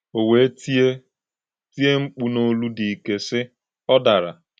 O wee tie tie mkpu n’olu dị ike, sị: “Ọ dara!”